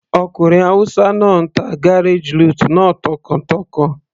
Ọkùnrin hausa náà ń ta garage lute náà tọkàntọkàn.